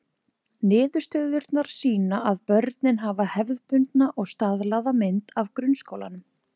Niðurstöðurnar sýna að börnin hafa hefðbundna og staðlaða mynd af grunnskólanum.